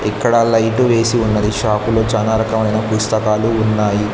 ఇక్కడ లైటు వేసి ఉన్నది షాప్ లో చాలా రకమైన పుస్తకాలు ఉన్నాయి.